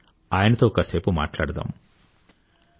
రండి ఆయనతో కాసేపు మాట్లాడదాం